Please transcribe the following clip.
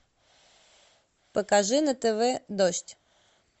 покажи на тв дождь